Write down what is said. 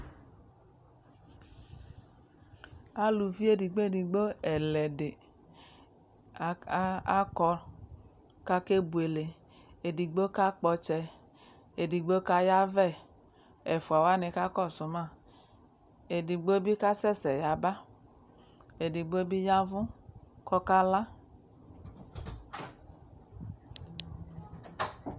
Aluvi edigbo-edigbo ɛlɛdɩ aka akɔ kʋ akebuele Edigbo kakpɔ ɔtsɛ, edigbo kayavɛ Ɛfʋa wanɩ kakɔsʋ ma Edigbo bɩ kasɛsɛ yaba Edigbo bɩ ya ɛvʋ kʋ ɔkala